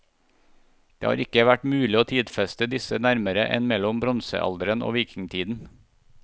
Det har ikke vært mulig å tidfeste disse nærmere enn mellom bronsealderen og vikingtiden.